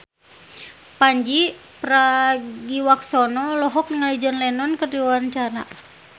Pandji Pragiwaksono olohok ningali John Lennon keur diwawancara